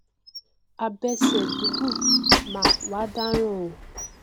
abẹsẹ gigun mà wá dáràn o